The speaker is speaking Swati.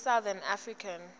i south african